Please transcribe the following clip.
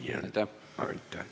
Aitäh!